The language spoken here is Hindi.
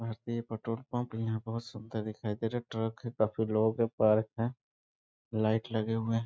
भारतीय पेट्रोल पंप यहाँ बहुत सुंदर दिखाई दे रहा है ट्रक है काफी लोग हैं पार्क है लाइट लगे हुए हैं।